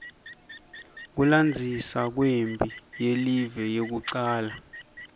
kulandzisa kwemphi yelive yekucala